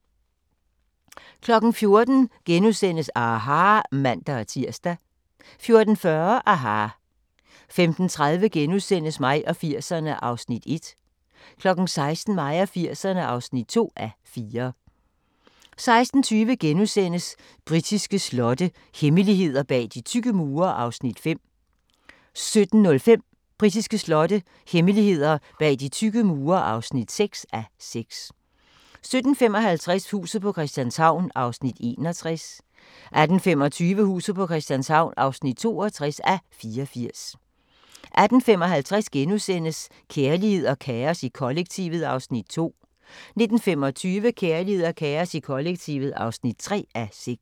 14:00: aHA! *(man-tir) 14:40: aHA! 15:30: Mig og 80'erne (1:4)* 16:00: Mig og 80'erne (2:4) 16:20: Britiske slotte – hemmeligheder bag de tykke mure (5:6)* 17:05: Britiske slotte – hemmeligheder bag de tykke mure (6:6) 17:55: Huset på Christianshavn (61:84) 18:25: Huset på Christianshavn (62:84) 18:55: Kærlighed og kaos i kollektivet (2:6)* 19:25: Kærlighed og kaos i kollektivet (3:6)